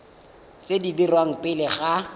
tse di dirwang pele ga